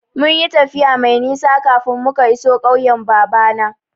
Mun yi tafiya mai nisa kafin muka iso ƙauyen babana.